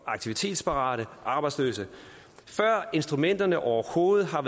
aktivitetsparate arbejdsløse før instrumenterne overhovedet har